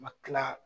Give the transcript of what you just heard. Ma kila